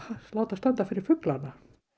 láta standa fyrir fuglana